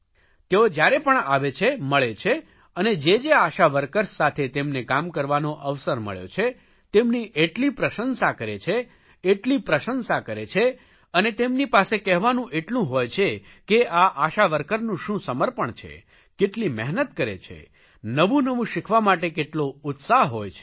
તેઓ જયારે પણ આવે છે મળે છે અને જે જે આશા વર્કર્સ સાથે તેમને કામ કરવાનો અવસર મળ્યો છે તેમની એટલી પ્રશંસા કરે છે એટલી પ્રશંસા કરે છે અને તેમની પાસે કહેવાનું એટલું હોય છે કે આ આશા વર્કરનું શું સમર્પણ છે કેટલી મહેનત કરે છે નવું નવું શીખવા માટે કેટલો ઉત્સાહ હોય છે